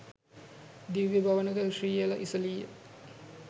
දිව්‍ය භවනක ශ්‍රීය ඉසිලීය